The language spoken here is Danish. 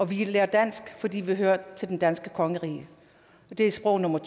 vi lærer dansk fordi vi hører til det danske kongerige og det er sprog nummer